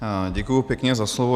Děkuji pěkně za slovo.